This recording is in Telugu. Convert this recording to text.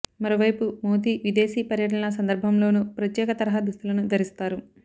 మరోవైపు మోదీ విదేశీ పర్యటనల సందర్భంలోనూ ప్రత్యేక తరహా దుస్తులను ధరిస్తారు